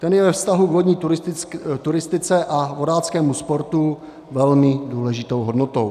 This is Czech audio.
Ten je ve vztahu k vodní turistice a vodáckému sportu velmi důležitou hodnotou.